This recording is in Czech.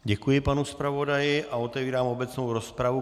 Děkuji panu zpravodaji a otevírám obecnou rozpravu.